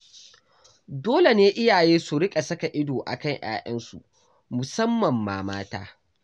Dole ne iyaye su riƙa saka ido a kan 'ya'yansu, musamman ma mata.